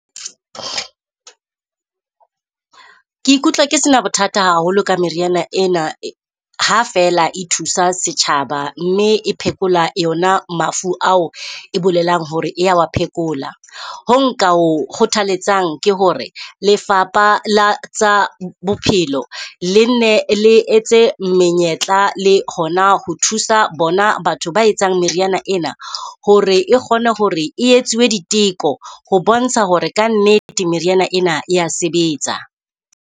Ke ikutlwa ke se na bothata haholo ka meriana ena, ha feela e thusa setjhaba mme e phekola yona mafu ao e bolelang hore e ya wa phekola. Ho nka ho kgothaletsang ke hore lefapha la tsa bophelo le nne le etse menyetla le hona ho thusa bona batho ba etsang meriana ena. Hore e kgone hore e etsuwe diteko, ho bontsha hore kannete meriana ena e ya sebetsa.